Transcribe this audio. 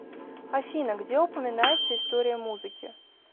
афина где упоминается история музыки